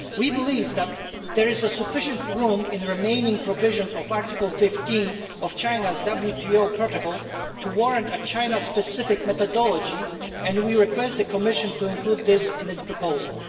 We believe that there is sufficient room in the remaining provisions of Article 15 of China's WTO protocol to warrant a China specific methodology, and we ask the Commission to include this in its proposal.